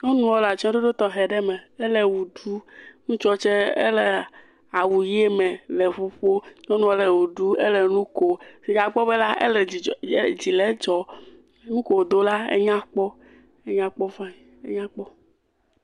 Nyɔnua le atsɔɖoɖo tɔxe aɖe me hele ʋe ɖum. Ŋutsua tse ele awu ʋi me le ŋu ƒom. Nyɔnua le ʋe ɖum le nu kom. Fifia akpɔ bena ele dzidzɔ edzi dzile edzɔ. Nuke wodo la enya kpɔ enya kpɔ fani enya kpɔ.